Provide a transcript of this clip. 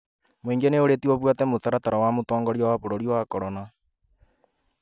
Mũingĩ nĩ ũrĩtio ũbuate mũtaratara wa mũtongoria wa bũrũri wa korona